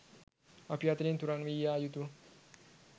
අප අතරින් තුරන් වී යා යුතු